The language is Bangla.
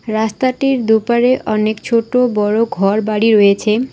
রাস্তাটির দুপারে অনেক ছোটো বড়ো ঘরবাড়ি রয়েছে।